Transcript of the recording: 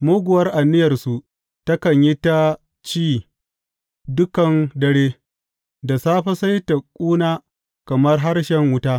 Muguwar aniyarsu takan yi ta ci dukan dare; da safe sai ta ƙuna kamar harshen wuta.